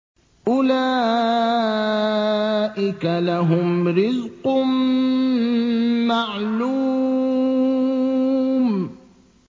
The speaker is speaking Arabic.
أُولَٰئِكَ لَهُمْ رِزْقٌ مَّعْلُومٌ